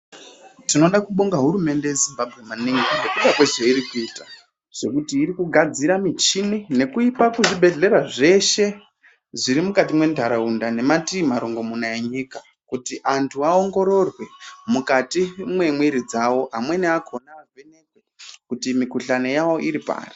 Tinoda kubonga hurumende yeZimbabwe maningi nekuda kwezvairikuita . Zvekuti iri kugadzira michini nekuipa kuzvibhedhlera zveshe zviri mukati me ntaraunda nematiwi marongomuna enyika kuti antu aongororwe mukati memwiri dzawo amweni akona avhenekwe kuti mikuhlane yawo iri pari.